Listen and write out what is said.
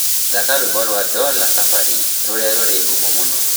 thaka rwīmbo rwa dola kabari rūria rūri ngumo mūno